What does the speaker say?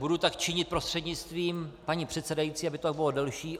Budu tak činit prostřednictvím paní předsedající, aby to tak bylo delší.